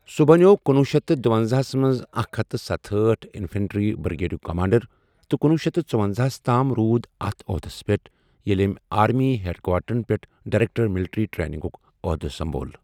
سُہ بنٛیوو کنۄہ شیتھ تہٕ دُۄنزاہ ہَس منٛز اکھ ہتھ ستہأٹھ انفنٹری بریگیڈُک کمانڈَر تہٕ کنۄہ شیتھ ژُۄنزاہَس تام روٗد اَتھ عہدَس پیٹھ ییٚلہ أمۍ آرمی ہیڈ کوارٹرَن پیٹھ ڈائریکٹر ملٹری ٹریننگُک عہدٕ سنٛبھول۔